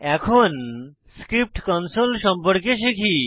এখন script console সম্পর্কে শিখি